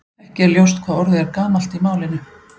Ekki er ljóst hvað orðið er gamalt í málinu.